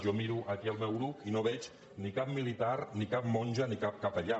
jo miro aquí al meu grup i no veig ni cap militar ni cap monja ni cap capellà